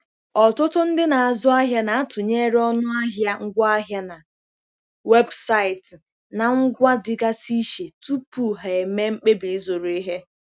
Ọtụtụ ndị na-azụ ahịa na-atụnyere ọnụ ahịa ngwaahịa na webụsaịtị na ngwa dịgasị iche tupu ha eme mkpebi ịzụrụ ihe.